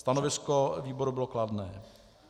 Stanovisko výboru bylo kladné.